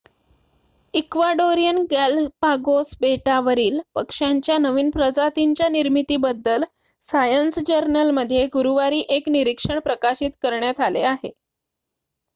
Ecuadorian Galapagos बेटावरील पक्ष्यांच्या नवीन प्रजातींच्या निर्मितीबद्दल सायन्स जर्नलमध्ये गुरुवारी एक निरीक्षण प्रकाशित करण्यात आले आहे